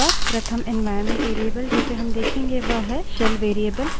प्रथम environment variable जिसे हम देखेंगे वह है shell variable